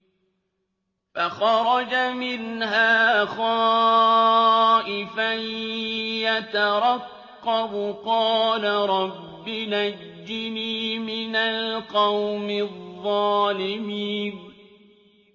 فَخَرَجَ مِنْهَا خَائِفًا يَتَرَقَّبُ ۖ قَالَ رَبِّ نَجِّنِي مِنَ الْقَوْمِ الظَّالِمِينَ